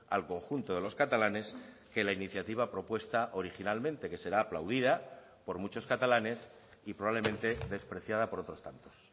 al conjunto de los catalanes que la iniciativa propuesta originalmente que será aplaudida por muchos catalanes y probablemente despreciada por otros tantos